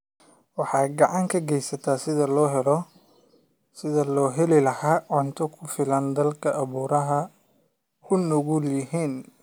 Waxay gacan ka geysataa sidii loo heli lahaa cunto ku filan dalalka abaaruhu u nugul yihiin.